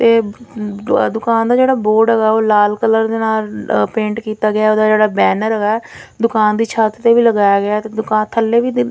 ਇਹ ਦੁਕਾਨ ਦਾ ਜੇਹੜਾ ਬੋਰਡ ਹੇਗਾ ਆ ਓਹ ਲਾਲ ਕਲਰ ਦੇ ਨਾਲ ਪੇਂਟ ਕਿੱਤਾ ਗਿਆ ਹੈ ਓਹਦਾ ਜੇਹੜਾ ਬੈਨਰ ਵਾ ਦੁਕਾਨ ਦੀ ਛੱਤ ਤੇ ਵੀ ਲਗਾਇਆ ਗਿਆ ਹੈ ਤੇ ਦੁਕਾਨ ਥੱਲੇ ਵੀ ਦੀ --